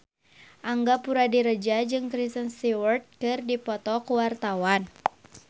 Angga Puradiredja jeung Kristen Stewart keur dipoto ku wartawan